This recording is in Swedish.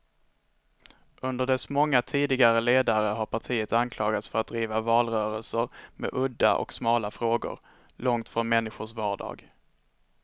Under dess många tidigare ledare har partiet anklagats för att driva valrörelser med udda och smala frågor, långt från människors vardag.